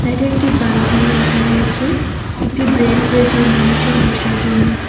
এটি একটি বালটিও রাখা রয়েছে একটি ব্রেঞ্চ রয়েছে মানুষের বসার জন্য।